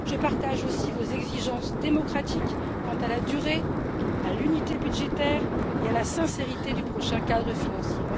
Je partage aussi vos exigences démocratiques quant à la durée, à l'unité budgétaire et à la sincérité du prochain cadre financier.